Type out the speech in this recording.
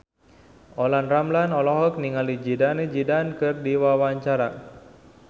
Olla Ramlan olohok ningali Zidane Zidane keur diwawancara